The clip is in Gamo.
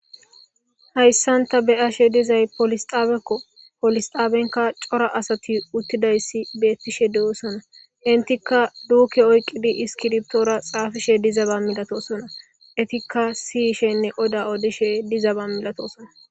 Hayssanta be ashe dizay polisxaaeko polisxaabenka cora asati uttidayssi beettishe de7osona intikka duuke oyqidi iskiriptoora xaafishe dizaba milatosona etikka siyishenne qoda odishe dizaba milatosona.